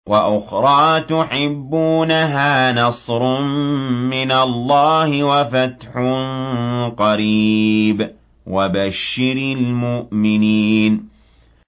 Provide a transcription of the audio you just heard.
وَأُخْرَىٰ تُحِبُّونَهَا ۖ نَصْرٌ مِّنَ اللَّهِ وَفَتْحٌ قَرِيبٌ ۗ وَبَشِّرِ الْمُؤْمِنِينَ